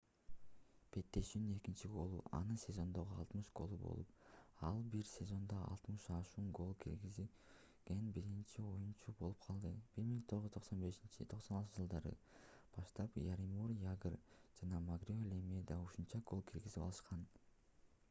беттешүүнүн экинчи голу — анын сезондогу 60-голу болуп ал бир сезондо 60 ашуун гол киргизген биринчи оюнчу болуп калды. 1995-96-жж. баштап яромир ягр жана марио лемье да ушунча гол киргизе алышкан